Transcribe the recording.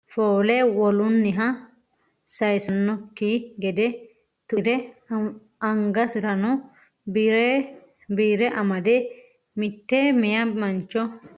Fayyima agarano ogeessi afiisira foole wolunniha sayiisanosikki gede tuire angasirano biire amade mitte meyaa mancho hasaawisanni no. Albaansaannino lowo xagga no.